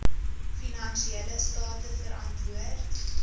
finansiële state verantwoord